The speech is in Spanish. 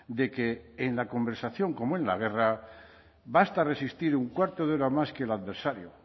de que en la conversación como en la guerra basta resistir un cuarto de hora más que el adversario